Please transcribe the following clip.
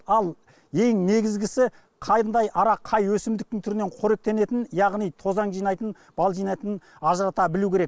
ал ең негізгісі қандай ара қай өсімдіктің түрінен қоректенетінін яғни тозаң жинайтынын бал жинайтынын ажырата білу керек